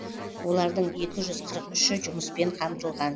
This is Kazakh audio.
олардың екі жүз қырық үші жұмыспен қамтылған